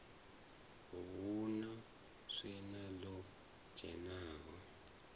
hu na swina ḽo dzhenaho